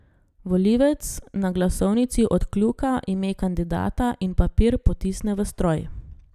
Volivec na glasovnici odkljuka ime kandidata in papir potisne v stroj.